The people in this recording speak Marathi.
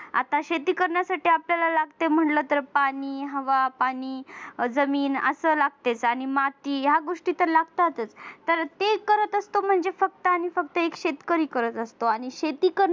आता शेती करण्यासाठी आपल्याला लागते म्हटलं तर पाणी हवा पाणी जमीन अस लागतेच आणि माती या गोष्टी तर लागतात तर ते करत असतो म्हणजे फक्त आणि फक्त एक शेतकरी करत असतो आणि शेती